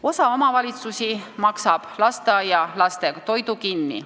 Osa omavalitsusi maksab lasteaialaste toidu kinni.